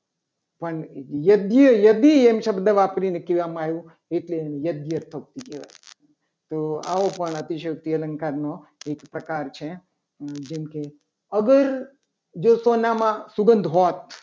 પણ યજ્ઞ યદી શબ્દ વાપરીને કહેવામાં આવ્યું. એટલે એને યજ્ઞશક્તિ કહેવાય તો આવો પણ અતિશયોક્તિ અલંકાર નો એક પ્રકાર છે. જેમ કે અગર જો સોનામાં સુગંધ હોત